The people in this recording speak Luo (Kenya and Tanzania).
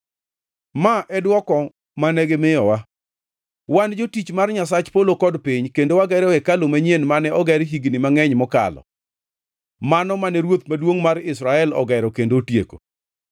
Ma e dwoko mane gimiyowa: Wan jotich mar Nyasach polo kod piny, kendo wagero hekalu manyien mane oger higni mangʼeny mokalo, mano mane ruoth maduongʼ mar Israel ogero kendo otieko.